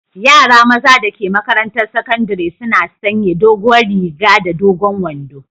Yara maza da ke maƙarantan saƙandari suna sanƴe doguwar riga da dogon wanɗo.